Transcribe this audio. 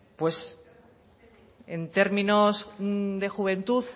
pues en términos de juventud